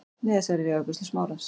Miðasala er í afgreiðslu Smárans.